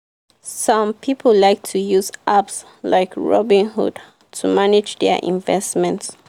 some people like to use apps like robinhood to manage their investment.